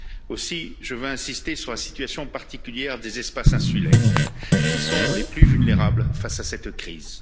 Aussi, je veux insister sur la situation particulière des espaces insulaires, qui sont les plus vulnérables face à cette crise.